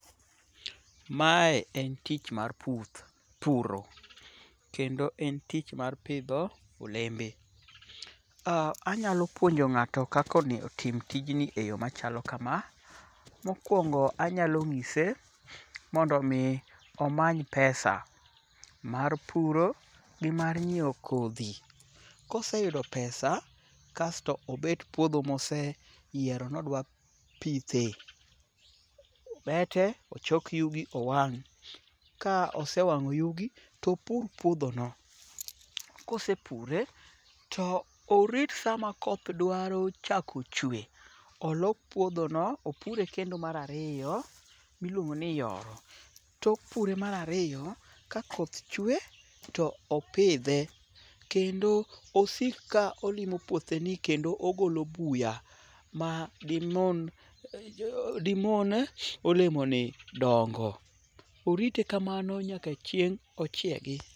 Mae en tich mar puro. Kendo en tich mar pidho olembe. Anyalo puonjo ng'ata kaka onego otim tijni e yo machalo kama: Mokwongo anyalo ng'ise mondo omi omany pesa mar puro gi mar nyieo kodhi. Koseyudo pesa kasto obet puodho moseyiero nodwa pithe. Kosebete ochok yugi owang'. Ka osewang'o yugi topur puodhono. Kosepure to orit sama koth dwaro chako chwe olok puodhono opure kendo mar ariyo miluongo ni yoro. Tok pure mar ariyo, ka koth chwe to opidhe kendo osiko ka olimo puotheni kendo ogolo buya ma dimon olemoni dongo. Orite kamano nyaka chieng' ochiegi.